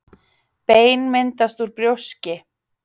Bein myndast úr brjóski.